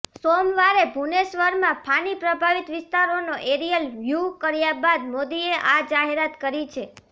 સોમવારે ભુવનેશ્વરમાં ફાની પ્રભાવિત વિસ્તારોનો એરિયલ વ્યૂ કર્યા બાદ મોદીએ આ જાહેરાત કરી છે